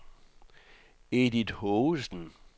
Edith Haagensen